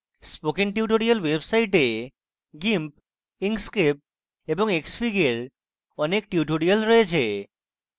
spoken tutorials website gimp inkscape এবং xfig এর অনেক tutorials রয়েছে